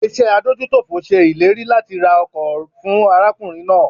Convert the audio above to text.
Ilé iṣẹ́ adójútòfò ṣe ìlérí làti ra ọkọ̀ fún arákùnrin náà